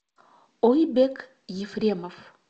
ойбек ефремов